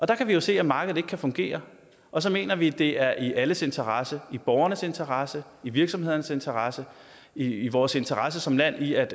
der kan vi jo se at markedet ikke kan fungere og så mener vi at det er i alles interesse i borgernes interesse i virksomhederns interesse i vores interesse som land i at